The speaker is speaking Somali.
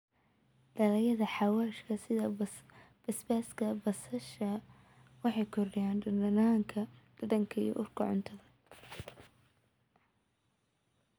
Dalagyada xawaashka sida basbaaska iyo basal waxay kordhiyaan dhadhanka iyo urta cuntada.